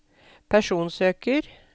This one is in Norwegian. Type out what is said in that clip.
personsøker